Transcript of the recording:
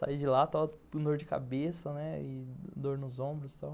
Saí de lá, estava com dor de cabeça, né, e dor nos ombros e tal.